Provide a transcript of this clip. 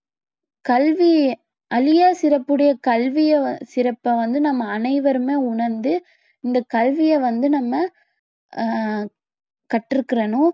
கல்வி அழியா சிறப்படைய கல்விய வ~ சிறப்பை வந்து நம்ம அனைவருமே உணர்ந்து இந்த கல்வியை வந்து நம்ம ஆஹ் கற்றுக்கணும்